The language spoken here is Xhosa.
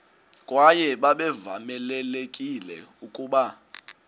kwaye babevamelekile ukuba